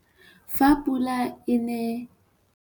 Fa pula e ne